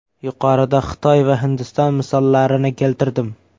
Yuqorida Xitoy va Hindiston misollarini keltirdim.